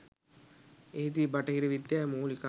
එහිදී බටහිර විද්‍යාවේ මූලිකාංග